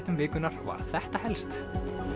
vikunnar var þetta helst